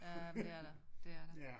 Ja men det er der det er der